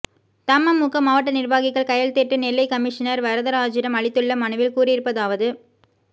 தமுமுக மாவட்ட நிர்வாகிகள் கையெழுத்திட்டு நெல்லை கமிஷனர் வரதராஜீடம் அளித்துள்ள மனுவில் கூறியிருப்பதாவது